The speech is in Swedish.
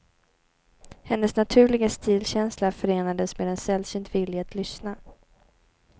Hennes naturliga stilkänsla förenades med en sällsynt vilja att lyssna.